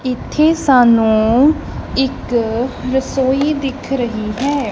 ਇੱਥੇ ਸਾਨੂੰ ਇੱਕ ਰਸੋਈ ਦਿਖ ਰਹੀ ਹੈ।